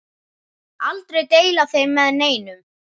Aldrei deila þeim með neinum.